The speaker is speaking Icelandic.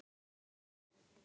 Ekki séns.